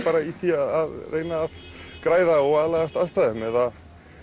í því að reyna að græða og aðlagast aðstæðum eða